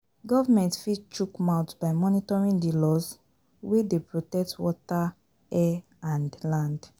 Government fit chook mouth by monitoring di laws wey dey protect water, air and land